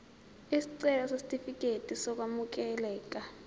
isicelo sesitifikedi sokwamukeleka